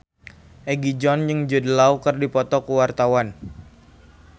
Egi John jeung Jude Law keur dipoto ku wartawan